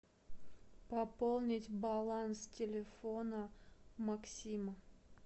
пополнить баланс телефона максима